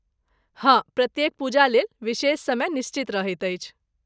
हँ, प्रत्येक पूजालेल विशेष समय निश्चित रहैत अछि।